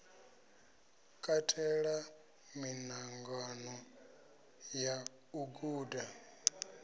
katela miṱangano ya u guda